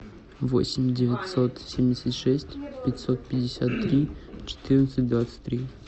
восемь девятьсот семьдесят шесть пятьсот пятьдесят три четырнадцать двадцать три